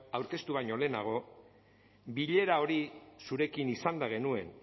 aurkeztu baino lehenago bilera hori zurekin izanda genuen